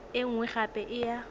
e nngwe gape e ya